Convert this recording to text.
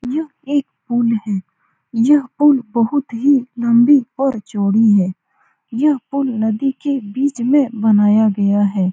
यह एक पूल है । यह पूल बहुत ही लम्बी और चौड़ी है । यह पूल नदी के बीच में बनाया गया है ।